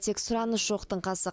тек сұраныс жоқтың қасы